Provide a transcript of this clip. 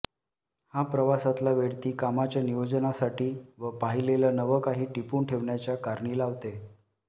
हा प्रवासातला वेळ ती कामाच्या नियोजनासाठी व पाहिलेलं नवं काही टिपून ठेवण्याच्या कारणी लावते